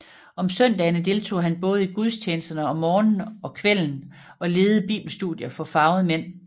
Om søndagene deltog han både i gudstjenesterne om morgenen og kvælden og ledede bibelstudier for farvede mænd